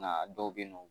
Nka dɔw bɛ yen nɔ